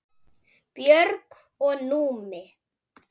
Björg og Númi.